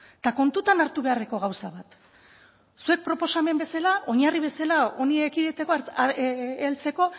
eta kontutan hartu beharreko gauza bat zuek proposamen bezala oinarri bezala honi ekiditeko heltzeko